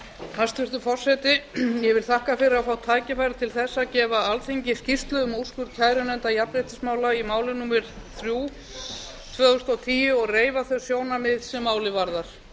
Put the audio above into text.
hæstvirtur forseti ég þakka fyrir að fá tækifæri til þess að gefa alþingi skýrslu um úrskurð kærunefndar jafnréttismála í máli númer þrjú tvö þúsund og tíu og reifa þau sjónarmið sem málið varðar